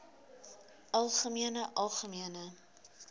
algemeen algemeen